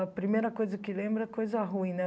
A primeira coisa que lembro é coisa ruim, né?